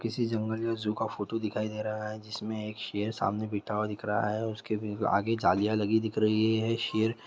किसी जंगल या जू का फोटु दिखाई दे रहा है जिसमें एक शेर सामने बिठा हुआ दिख रहा हैउसके आगे जालियाँ लगी दिख रही है। शेर--